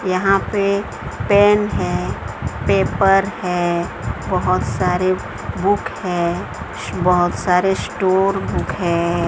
यहां पे पेन है पेपर है बहुत सारे बुक है बहुत सारे स्टोर बुक है।